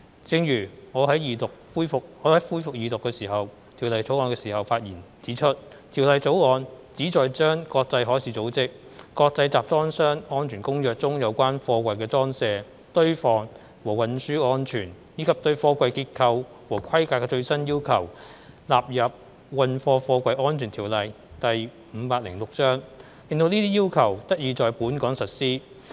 正如我在動議恢復二讀辯論《條例草案》的發言時指出，《條例草案》旨在將國際海事組織《國際集裝箱安全公約》中有關貨櫃的裝卸、堆放和運輸安全，以及對貨櫃結構和規格的最新要求納入《運貨貨櫃條例》，令這些要求得以在本港實施。